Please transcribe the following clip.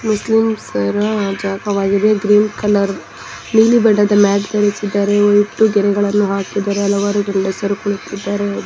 ಮುಸ್ಲಿಂಸರ ಜಾಗವಾಗಿದೆ green colour ನೀಲಿ ಬಣ್ಣದ ಮ್ಯಾಟ್ ಧರಿಸಿದ್ದಾರೆ ವೈಟು ಗೆರೆಗಳನ್ನು ಹಾಕಿದ್ದಾರೆ ಹಲವಾರು ಗಂಡಸರು ಕಳಿಸಿದ್ದಾರೆ.